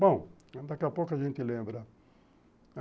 Bom, daqui a pouco a gente lembra.